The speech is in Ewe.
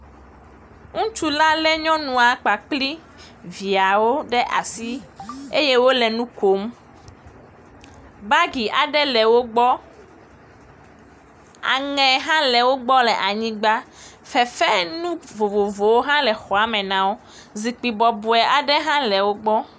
Ŋutsu la le nyɔnua kpakpli viawo ɖe asi, eye wole nu kom, bagi aɖe le wo gbɔ, aŋe hã le wo gbɔ le anyigba, fefe nu vovovowo hã le xɔame nawo, zikpui bɔbɔe aɖe hã le wo gbɔ.